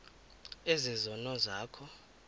ezi zono zakho